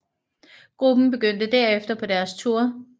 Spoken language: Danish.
Gruppen begyndte derefter på deres tour